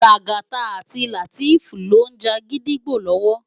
Lagata àti Lateef ló n já gidigbó lòwò